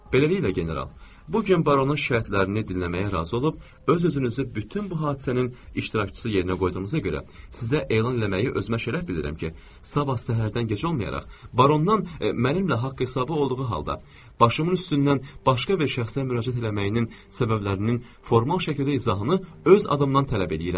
Beləliklə, general, bu gün baronun şikayətlərini dinləməyə razı olub, öz-özünüzü bütün bu hadisənin iştirakçısı yerinə qoyduğunuza görə sizə elan eləməyi özümə şərəf bilirəm ki, sabah səhərdən gec olmayaraq barondan mənimlə haqq-hesabı olduğu halda başımın üstündən başqa bir şəxsə müraciət eləməyinin səbəblərinin formal şəkildə izahını öz adımdan tələb eləyirəm.